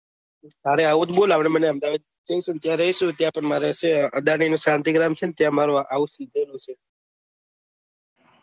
અરે આવું જ બોલ આપડે બને અહેમદાબાદ જૈસુ ને ત્યાં રહીશું ત્યાં પણ મારે છે અદાની નો ત્યાં મારું house લીધેલું છે